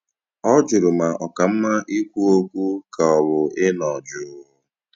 Ọ jụrụ ma ọ ka mma ikwu okwu ka ọ bụ ịnọ jụụ